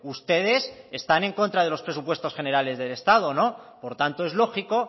ustedes están en contra de los presupuestos generales del estado no por tanto es lógico